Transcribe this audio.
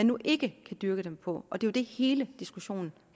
nu ikke kan dyrke dem på og det er det hele diskussionen